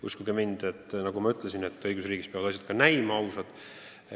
Uskuge mind, õigusriigis peavad asjad ka näima ausad.